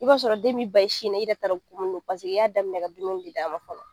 I b'a sɔrɔ den bi ban i sin na , i yɛrɛ t'a dɔ kun munn don paseke i y'a daminɛ ka dumuni de d'a ma fɔlɔ.